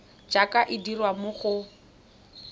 jaaka e dirwa mo go